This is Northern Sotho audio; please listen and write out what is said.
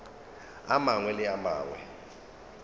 a mangwe le a mangwe